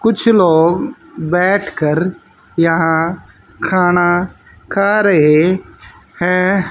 कुछ लोग बैठ कर यहां खाना खा रहे है।